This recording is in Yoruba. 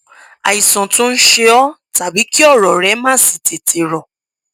àìsàn tó ń ṣe ọ tàbí kí ọrọ rẹ má sì tètè rọ